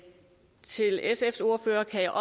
det her